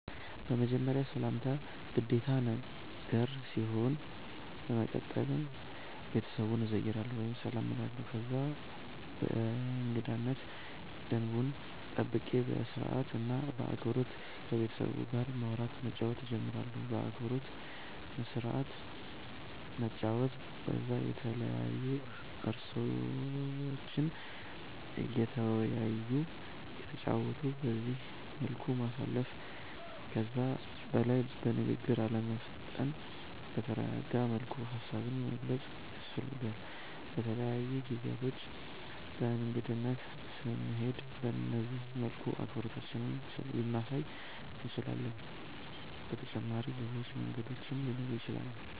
በመጀመርያ ሰላምታ ግዴታ ነገር ሲሆን በመቀተል ቤተሰቡን እዘይራለሁ ወይም ሰላም እላለሁ ከዛ የእንገዳነት ደንቡን ጠብቄ በስርአት እና በአክበሮት ከቤተሰቡ ጋር ማዉራት መጫወት ጀምራለሁ። በአክብሮት በስርአት መጨዋወት ከዛም የተለያዩ እርእሶችን እየተወያዩ እየተጨዋወቱ በዚህ መልኩ ማሳለፍ። ከዛ በላይ በንግግር አለመፍጠን በተረጋጋ መልኩ ሃሳብን መግለፅ ያስፈልጋል። በተለያዩ ጊዜያቶች በእንግድነት ስንሄድ በነዚህ መልኩ አክብሮታችንን ልናሳይ እንችላለን። በተጫመሪም ሌሎች መንገዶችም ሊኖሩ ይችላሉ